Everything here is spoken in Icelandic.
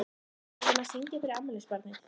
Við verðum að syngja fyrir afmælisbarnið.